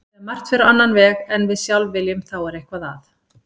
Þegar margt fer á annan veg en við sjálf viljum þá er eitthvað að.